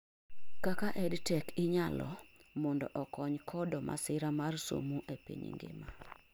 kaka EdTech inyalo mondo okony kodo masira mar somo e piny ngima